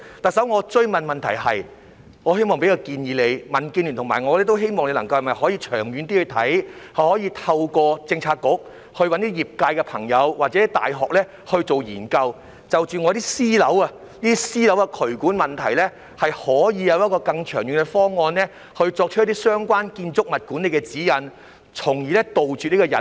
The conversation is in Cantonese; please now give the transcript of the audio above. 特首，我追問的問題是，我希望給你一個建議，民建聯和我都希望你能長遠去看，透過政策局找一些業界朋友或大學進行研究，就私樓的渠管問題有一個更長遠的方案，制訂一些相關建築物管理的指引，從而杜絕隱患。